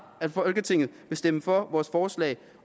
at folketinget vil stemme for vores forslag